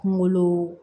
Kunkolo